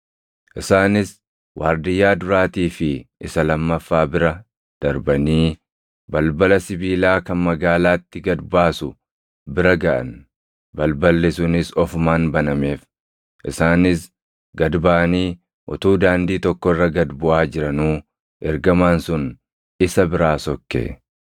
Isaanis waardiyyaa duraatii fi isa lammaffaa bira darbanii balbala sibiilaa kan magaalaatti gad baasu bira gaʼan; balballi sunis ofumaan banameef; isaanis gad baʼanii utuu daandii tokko irra gad buʼaa jiranuu ergamaan sun isa biraa sokke.